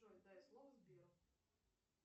джой дай слово сберу